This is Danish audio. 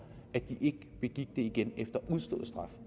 at de ikke begik en forbrydelse igen efter udstået straf